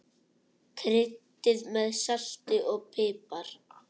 Kryddið með salti og pipar.